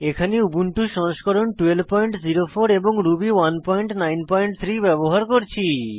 এখানে উবুন্টু সংস্করণ 1204 এবং রুবি 193 ব্যবহার করছি